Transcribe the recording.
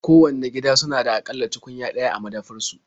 Kowanne gida suna da a ƙalla tukunya ɗaya a madafar su.